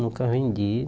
Nunca vendi.